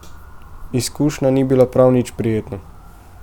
Izkušnja ni bila prav nič prijetna.